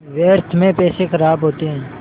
व्यर्थ में पैसे ख़राब होते हैं